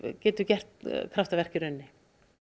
getur gert kraftaverk í rauninni